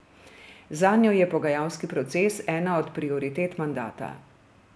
Zanjo je pogajalski proces ena od prioritet mandata.